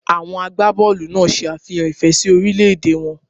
Àwọn àgbàbọọlu náà se àfihàn ìfẹ́ sí orílè-èdè wọn